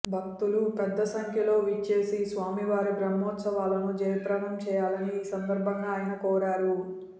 భక్తులు పెద్ద సంఖ్యలో విచ్చేసి స్వామివారి బ్రహ్మోత్సవాలను జయప్రదం చేయాలని ఈ సందర్భంగా ఆయన కోరారు